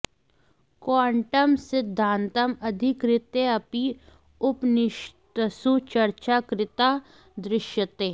quantum सिद्धान्तम् अधिकृत्य अपि उपनिषत्सु चर्चा कृता दृश्यते